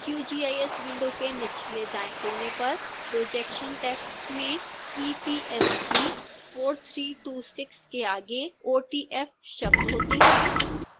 qgis window के निचलेदाएं कोने पर projection टेक्स्ट में epsg:4326 के आगे otf शब्द होते हैं